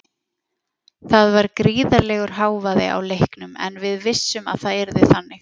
Það var gríðarlegur hávaði á leiknum en við vissum að það yrði þannig.